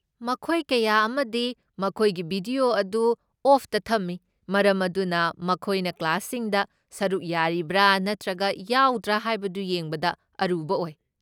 ꯃꯈꯣꯏ ꯀꯌꯥ ꯑꯃꯗꯤ ꯃꯈꯣꯏꯒꯤ ꯚꯤꯗꯤꯑꯣ ꯑꯗꯨ ꯑꯣꯐꯇ ꯊꯝꯃꯤ, ꯃꯔꯝ ꯑꯗꯨꯅ ꯃꯈꯣꯏꯅ ꯀ꯭ꯂꯥꯁꯁꯤꯡꯗ ꯁꯔꯨꯛ ꯌꯥꯔꯤꯕ꯭ꯔꯥ ꯅꯠꯇ꯭ꯔꯒ ꯌꯥꯎꯗ꯭ꯔ ꯍꯥꯏꯕꯗꯨ ꯌꯦꯡꯕꯗ ꯑꯔꯨꯕ ꯑꯣꯏ꯫